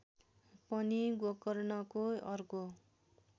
पनि गोकर्णको अर्को